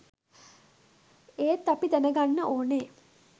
ඒත් අපි දැන ගන්න ඕනේ